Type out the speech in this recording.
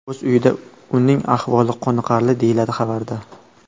o‘z uyida, uning ahvoli qoniqarli, deyiladi xabarda.